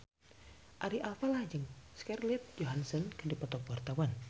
Ari Alfalah jeung Scarlett Johansson keur dipoto ku wartawan